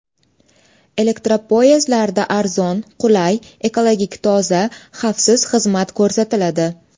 Elektropoyezdlarda arzon, qulay, ekologik toza, xavfsiz xizmat ko‘rsatiladi.